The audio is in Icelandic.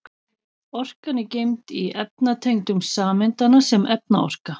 Orkan er geymd í efnatengjum sameindanna sem efnaorka.